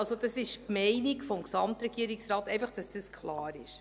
Das ist also die Meinung des Gesamtregierungsrates – einfach, dass dies klar ist.